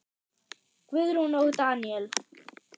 Guðrún og Daníel.